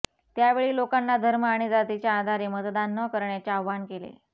त्यावेळी लोकांना धर्म आणि जातीच्या आधारे मतदान न करण्याचे आवाहन केले